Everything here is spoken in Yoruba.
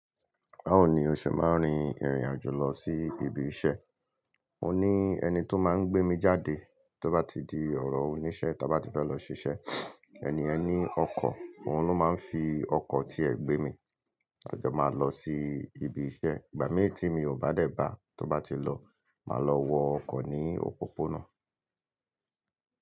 Báwo ní oṣe máa rìn ìrìn àjò lọ sí ibi iṣẹ́. Mo ní ẹni tó máa ń gbé mi jáde tó bá ti di ọ̀rọ̀ oníṣẹ́ tí àá bá ti fẹ́ lọ ṣiṣẹ́. Ẹniyen ni ọkọ̀, òun ló máa ń fi ọkọ̀ tiẹ̀ gbé mi. A jọ máa lọ sí ibi iṣẹ́. Ìgbà mì tí mi ò bá dẹ̀ bá a tó bá ti lọ, màá lọ wọ ọkọ̀ ní òpópónà.